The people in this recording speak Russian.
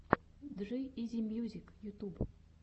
джи изи мьюзик ютьюб